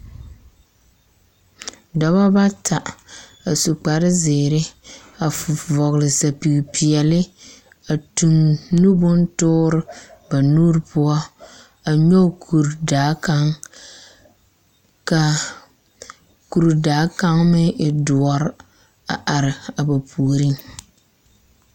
Dͻbͻ bata, a su kpare zeere a fu vͻgele sapigi peԑle a tuŋ nu bontoore ba nuuri poͻ, a nyͻge kuri daa kaŋ. Ka kuri daa kaŋ meŋ dõͻre a are a ba puoriŋ.